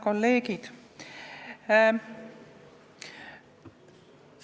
Head kolleegid!